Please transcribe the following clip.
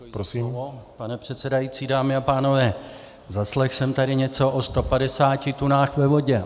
Pane předsedající, dámy a pánové, zaslechl jsem tady něco o 150 tunách ve vodě.